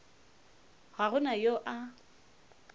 ga go na yo a